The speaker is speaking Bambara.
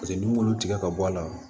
Paseke n'i m'olu tigɛ ka bɔ a la